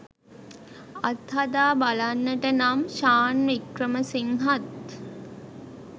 අත්හදා බලන්නට නම් ෂාන් වික්‍රමසිංහත්